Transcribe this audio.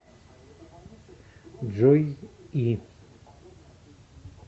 джой и